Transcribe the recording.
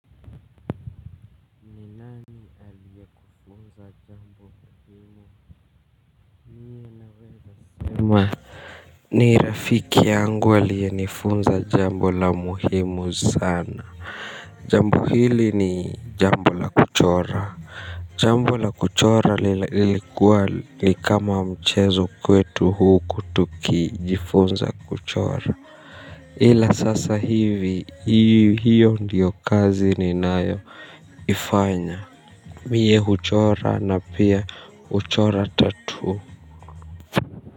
Nani aliye kufunza jambo la muhimu mimi naweza sema. Ni rafiki yangu aliye nifunza jambo la muhimu sana. Jambo hili ni jambo la kuchora. Jambo la kuchora lilikuwa likama mchezo kwetu huku tuki jifunza kuchora ila sasa hivi hiyo ndiyo kazi ni nayo Ifanya. Mie huchora na pia huchora tatoo.